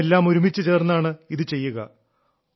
നാമെല്ലാം ഒരുമിച്ചു ചേർന്നാണ് ഇത് ചെയ്യുക